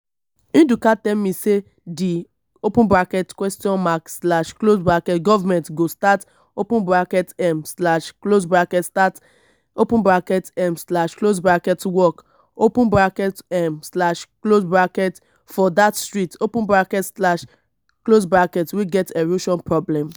ndụka tell me say the government go start um start um work um for dat street um wey get erosion problem